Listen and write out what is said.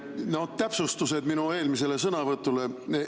No täpsustused minu eelmisele sõnavõtule.